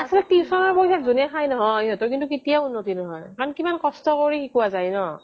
অচ্ছা tuition ৰ পইচা যোনে খাই নহয় সিহঁতৰ কিন্তু কেতিয়াও উন্নতি নহয় মানে কিমান কষ্ট কৰি শিকোৱা যাই ন